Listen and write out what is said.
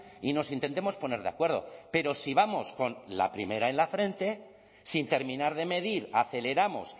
y nos intentemos poner de acuerdo pero si vamos con la primera en la frente sin terminar de medir aceleramos